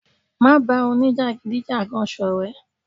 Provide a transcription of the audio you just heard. Má ba òní-jagidijagan sọrẹ.